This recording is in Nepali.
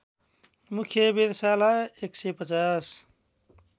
मुख्य वेधशाला १५०